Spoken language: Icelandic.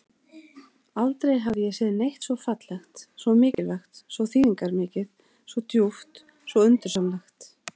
Aldrei hafði ég séð neitt svo fallegt, svo mikilvægt, svo þýðingarmikið, svo djúpt, svo undursamlegt.